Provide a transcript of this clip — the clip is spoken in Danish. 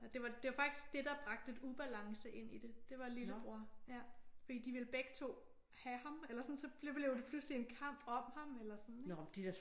Det var det var faktisk det der bragte lidt ubalance ind i det. Det var lillebror. Ja fordi de ville begge to have ham eller sådan så blev det pludselig en kamp om ham eller sådan ik?